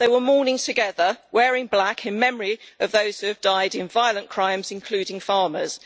They were mourning together, wearing black, in memory of those who have died in violent crimes, including farmers.